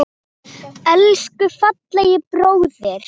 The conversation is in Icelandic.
Elsku fallegi bróðir.